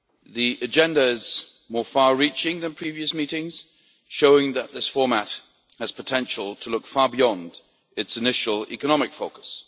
The agenda is more far reaching than for previous meetings, showing that this format has the potential to look far beyond its initial economic focus.